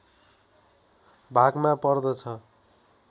भागमा पर्दछ